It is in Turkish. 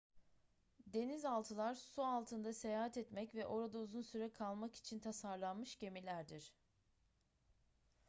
denizaltılar su altında seyahat etmek ve orada uzun süre kalmak için tasarlanmış gemilerdir